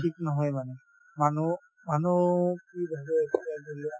ঠিক নহয়ে মানে মানুহো মানুহো কি ভাবে